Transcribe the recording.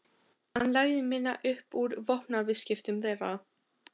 Hann lagði minna upp úr vopnaviðskiptum þeirra.